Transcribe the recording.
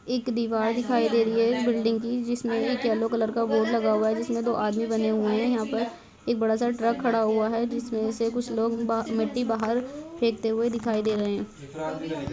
एक दीवार दिखाई दे रही है बिल्डिंग की जिसमें एक येलो कलर का बोर्ड लगा हुआ है जिसमें दो आदमी बने हुए हैं यहाँ पर एक बड़ा -सा ट्रक खड़ा हुआ है जिसमें से कुछ लोग बा मिट्टी बाहर फेंकते हुए दिखाई दे रहे हैं।